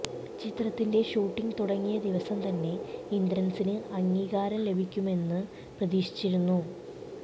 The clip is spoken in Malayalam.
ചിത്രത്തിന്റെ ഷൂട്ടിംഗ് തുടങ്ങിയ ദിവസം തന്നെ ഇന്ദ്രന്സിന് അംഗീകാരം ലഭിക്കുമെന്ന് പ്രതീക്ഷിച്ചിരുന്നു